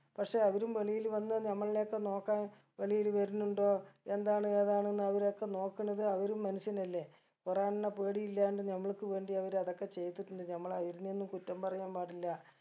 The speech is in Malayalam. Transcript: പക്ഷെ അവരും വെളിയിൽ വന്ന് നമ്മൾനെ ഒക്കെ നോക്കാൻ വെളിയിൽ വരുന്നുണ്ടോ എന്താണ് ഏതാണ് എന്ന് അവരൊക്കെ നോക്കണത് അവരും മനുഷ്യനല്ലെ കുറേ എണ്ണം പേടി ഇല്ലാണ്ട് നമ്മൾക്ക് വേണ്ടി അവര് അതൊക്കെ ചെയ്തിട്ടിണ്ട് നമ്മള് അയിൽനെയൊന്നും കുറ്റം പറയാൻ പാടില്ല